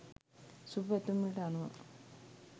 සුභපැතුම් වලට අනුව